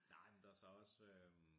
Nej men der så også øh